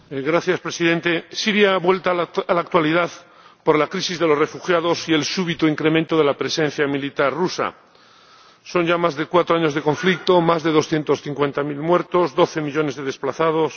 Señor Presidente, Siria ha vuelto a la actualidad por la crisis de los refugiados y el súbito incremento de la presencia militar rusa. Son ya más de cuatro años de conflicto, más de doscientos cincuenta mil muertos, doce millones de desplazados.